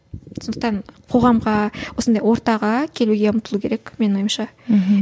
сондықтан қоғамға осындай ортаға келуге ұмтылу керек менің ойымша мхм